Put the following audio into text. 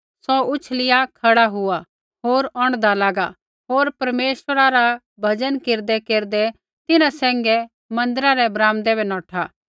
सौ उछलिआ खड़ा हुआ होर औंढदा लागा होर परमेश्वरा रा भजन केरदैकेरदै तिन्हां सैंघै मन्दिरा रै ब्राम्दै बै नौठा